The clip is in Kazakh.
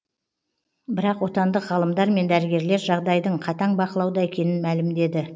бірақ отандық ғалымдар мен дәрігерлер жағдайдың қатаң бақылауда екенін мәлімдеді